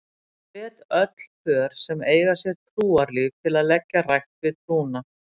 Ég hvet öll pör sem eiga sér trúarlíf til að leggja rækt við trúna.